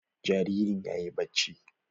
Jaririn yayi bacci.